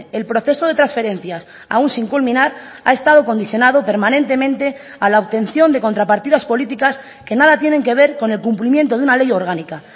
el proceso de transferencias aún sin culminar ha estado condicionado permanentemente a la obtención de contrapartidas políticas que nada tienen que ver con el cumplimiento de una ley orgánica